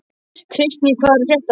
Kristný, hvað er að frétta?